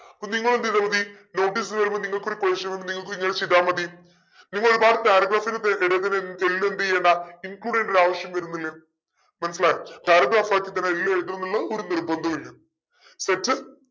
അപ്പൊ നിങ്ങളെന്തെയിതാ മതി notice വരുമ്പോ നിങ്ങൾക് ഒരു question വന്ന നിങ്ങൾക്കു ഇങ്ങന ചെയ്താമതി നിങ്ങൾ ഒരുപാട് paragraph നു പേ എല്ലു എന്തെയ്യണ്ട include ചെയ്യണ്ട ആവശ്യം വരുന്നില്ല മനസ്സിലായോ paragraph ആയിട്ട് തന്നെ എല്ലും എഴുതണംന്നുള്ളത് ഒരു നിർബന്ധുല്ല set